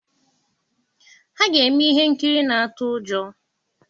Ha ga-eme ihe nkiri na-atụ ụjọ.